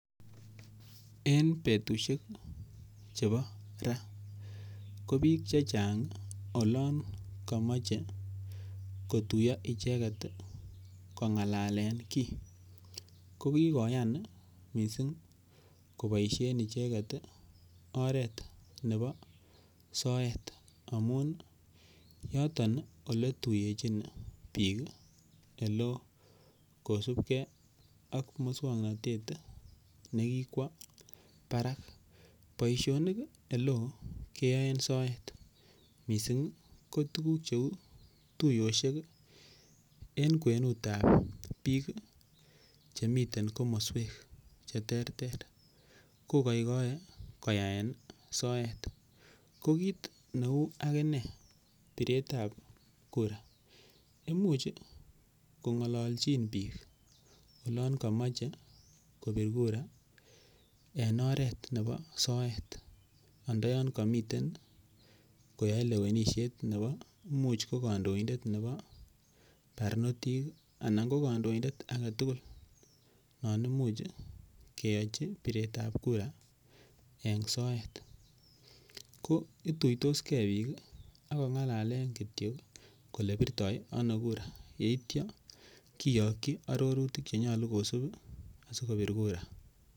En betusiek chebo ra ko biik chechang olon komoche kotuiyo icheget kong'alalen kiy. Ko kigoyan icheget koboisien oret nebo soet amun yoton ole tuyechn biik ole oo kosubge ak muswokantet ne kikwo barak boisionik ol eoo keyoen soet mising ko tuguk cheu tuyosiek en kwenut ab biik chemiten komoswek che terter. Ko koikoe koyaen soet. Ko kit neu ak inee piretab kura imuch kong'alolchin biiik olon komoche kobir kura en oret nebo soet ndoyon komiten koyae lewenisiet nebo imuch ko kandoindet nebo barnotik anan ko kondindet age tugul non imuch keyochi piretab kura en soet. Ko ituitos ge biik ak kong'alalen kityo ole birto kura yeityo kiyoki arorutik che nyolu kosub askobir kura.